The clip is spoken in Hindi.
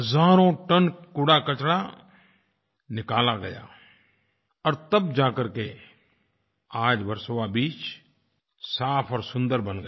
हज़ारों टन कूड़ाकचरा निकाला गया और तब जा करके आज वर्सोवा बीच साफ़ और सुंदर बन गया